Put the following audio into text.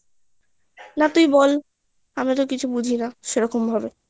না তুই বল আমি তো কিছু বুঝি না সেরকম ভাবে